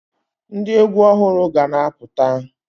Ndị egwu ọhụrụ ga-na apụta